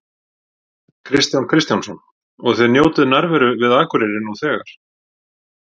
Kristján Kristjánsson: Og þið njótið nærveru við Akureyri nú þegar?